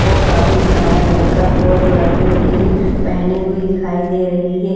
और काफी सारा मेकअप और ज्वेलरी भी पहनी हुई दिखाई दे रही है।